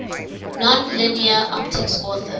nonlinear optics author